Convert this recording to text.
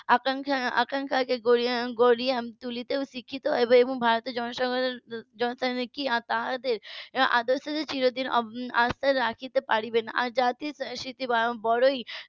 আকাঙ্খা~ আকাঙ্খাকে গড়ে তুলে শিখি এবং ভারতের জনসাধারণ কি তাদের আদর্শ কে চিরদিন আস্থা রাখতে পারবে না আর জাতির . বড়ই